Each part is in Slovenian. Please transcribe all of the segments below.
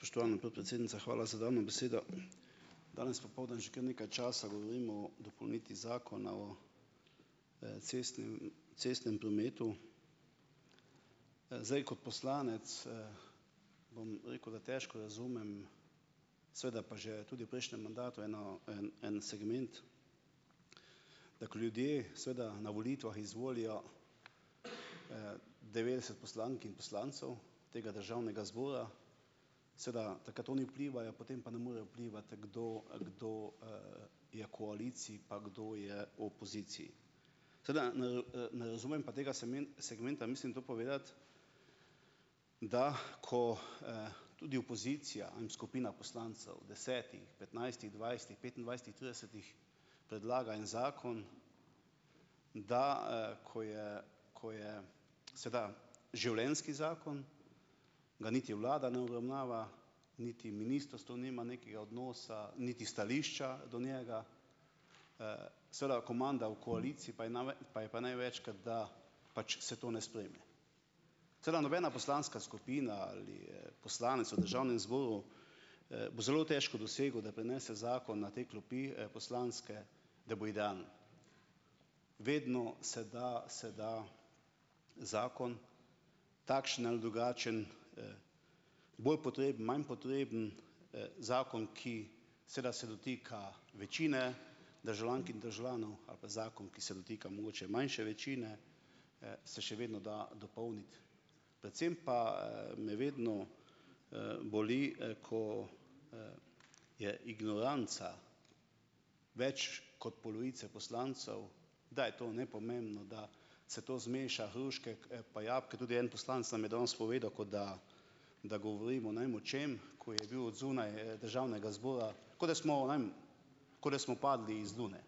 Spoštovana podpredsednica, hvala za dano besedo. Danes popoldne že kar nekaj časa govorimo o dopolnitvi Zakona o, cestnem prometu. Zdaj kot poslanec, bom rekel, da težko razumem, seveda pa že tudi v prejšnjem mandatu eno en en segment, da ko ljudje, seveda na volitvah izvolijo, devetdeset poslank in poslancev tega državnega zbora, seveda takrat oni vplivajo, potem pa ne morejo vplivati, kdo kdo, je v koaliciji pa kdo je v opoziciji. Seveda ne ne razumem pa tega segmenta, mislim to povedati, da ko, tudi opozicija, skupina poslancev, desetih, petnajstih, dvajsetih, petindvajsetih, tridesetih, predlaga en zakon, da, ko je ko je seveda življenjski zakon, ga niti vlada ne obravnava, niti ministrstvo nima nekega odnosa, niti stališča do njega. Seveda komanda v koaliciji pa je pa je pa največkrat, da pač se to ne sprejme. Seveda nobena poslanska skupina ali, poslanec v državnem zboru, bo zelo težko dosegel, da prinese zakon na te klopi, poslanske, da bo idealno. Vedno se da se da zakon, takšen ali drugačen, bolj potreben, manj potreben, zakon, ki seveda se dotika večine državljank in državljanov, ali pa zakon, ki se dotika mogoče manjše večine, se še vedno da dopolniti. Predvsem pa, me vedno, boli, ko, je ignoranca več kot polovice poslancev, da je to nepomembno, da se to zmeša hruške pa jabolka. Tudi en poslanec nam je danes povedal, kot da da govorimo ne vem o čem, ko je bil odzunaj, državnega zbora. Kot da smo, ne vem, kot da smo padli z lune.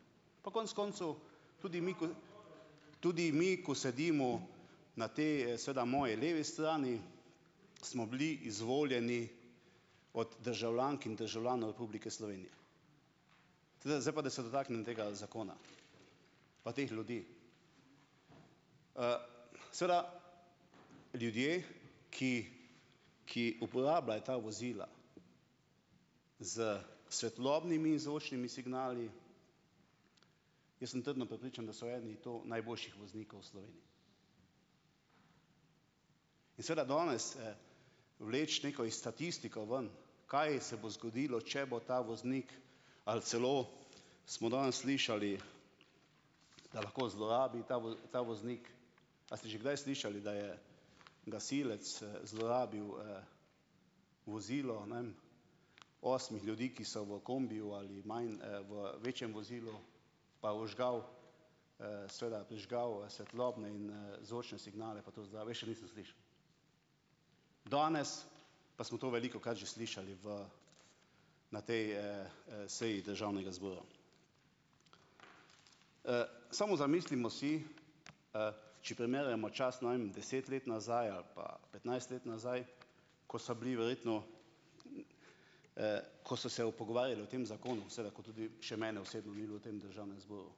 Pa konec, koncev tudi mi, ko tudi mi, ko sedimo na tej seveda moji levi strani, smo bili izvoljeni od državljank in državljanov Republike Slovenije. Seveda zdaj pa da se dotaknem tega zakona. Pa teh ljudi. Seveda ljudje, ki ki uporabljajo ta vozila s svetlobnimi in zvočnimi signali. Jaz sem trdno prepričan, da so eni to najboljših voznikov v Sloveniji. In seveda danes, vleči neko statistiko ven, kaj se bo zgodilo, če bo ta voznik, ali celo smo danes slišali, da lahko zlorabi ta ta voznik ... A ste že kdaj slišali, da je gasilec, zlorabil, vozilo, ne vem, osmih ljudi, ki so v kombiju ali manj v večjem vozilu pa vžgal, seveda prižgal svetlobne in, zvočne signale pa to jaz še nisem slišal. Danes pa smo to velikokrat že slišali v na tej, seji državnega zbora. Samo zamislimo si, če primerjamo čas, ne vem, deset let nazaj ali pa petnajst let nazaj, ko so bili verjetno, ko so se pogovarjali o tem zakonu, seveda ko tudi še mene osebno ni bilo v tem državnem zboru.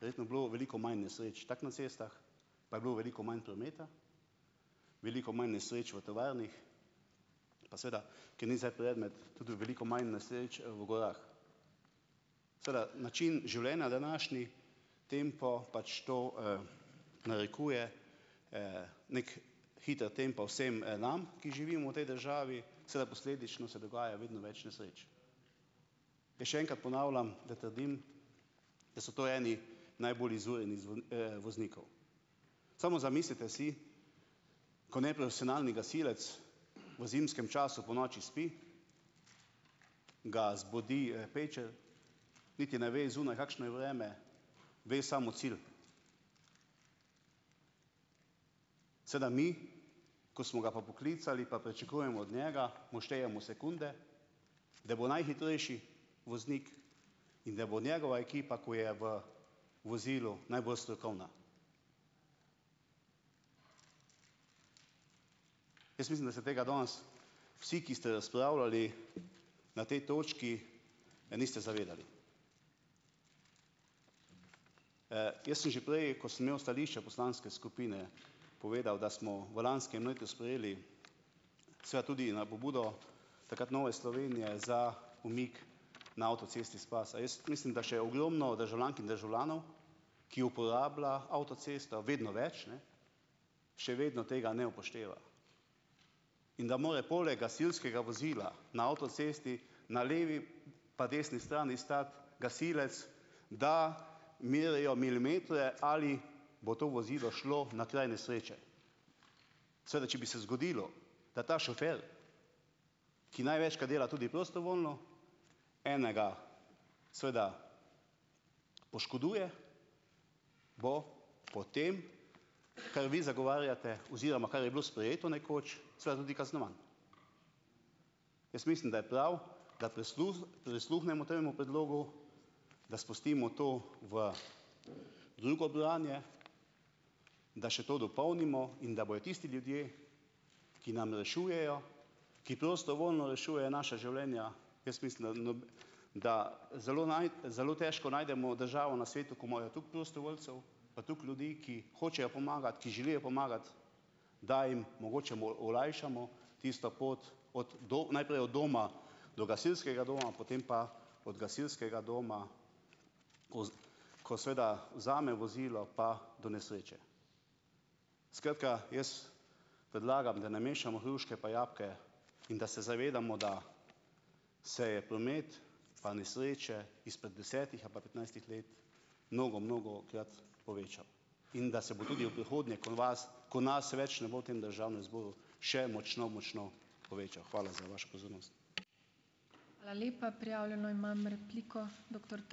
Verjetno je bilo veliko manj nesreč, tako na cestah, pa je bilo veliko manj prometa, veliko manj nesreč v tovarnah, pa seveda, ki ni zdaj predmet, tudi veliko manj nesreč v gorah. Seveda način življenja, današnji tempo pač to, narekuje, neki hiter tempo vsem, nam, ki živimo v tej državi, seveda posledično se dogaja vedno več nesreč. In še enkrat ponavljam, da trdim, da so to eni najbolj izurjenih voznikov. Samo zamislite si, ko neprofesionalni gasilec v zimskem času ponoči spi, ga zbudi, pečel, niti ne ve, zunaj kakšno je vreme, ve samo cilj. Seveda mi, ko smo ga pa poklicali, pa pričakujemo od njega, mu štejemo sekunde, da bo najhitrejši voznik in da bo njegova ekipa, ki je v vozilu, najbolj strokovna. Jaz mislim, da se tega danes vsi, ki ste razpravljali na tej točki, niste zavedali. jaz sem že prej, ko sem imel stališče poslanske skupine, povedal, da smo v lanskem letu sprejeli seveda tudi na pobudo takrat Nove Slovenije za umik na avtocesti iz pase. Jaz mislim, da je še ogromno državljank in državljanov, ki uporablja avtocesto vedno več, ne, še vedno tega ne upošteva. In da mora poleg gasilskega vozila na avtocesti na levi pa desni strani stati gasilec, da merijo milimetre ali bo to vozilo šlo na kraj nesreče. Seveda če bi se zgodilo, da ta šofer, ki največkrat dela tudi prostovoljno, enega seveda poškoduje, bo po tem, kar vi zagovarjate oziroma kar je bilo sprejeto nekoč, seveda tudi kaznovan. Jaz mislim, da je prav, da prisluhnemo temu predlogu, da spustimo to v drugo branje, da še to dopolnimo. In da bojo tisti ljudje, ki nam rešujejo, ki prostovoljno rešujejo naša življenja, jaz mislim, da da zelo zelo težko najdemo državo na svetu, ki imajo toliko prostovoljcev pa toliko ljudi, ki hočejo pomagati, ki želijo pomagati, da jim omogočamo olajšamo tisto pot od najprej od doma do gasilskega doma, potem pa od gasilskega doma, ko ko seveda vzame vozilo, pa do nesreče. Skratka, jaz predlagam, da ne mešamo hruške pa jabolka in da se zavedamo, da se je promet pa nesreče izpred desetih ali pa petnajstih let mnogo, mnogokrat povečav. In da se bo tudi v prihodnje, ko vas, ko nas več ne bo v tem državnem zboru, še močno, močno povečal. Hvala za vašo pozornost.